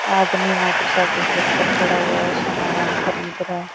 आदमी मोटरसाइकिल के ऊपर खड़ा हुआ है सामान खरीद रहा है।